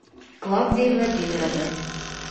клавдии владимировны